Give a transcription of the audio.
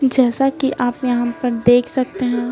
जैसा कि आप यहां पर देख सकते हैं।